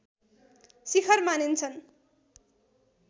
शिखर मानिन्छन्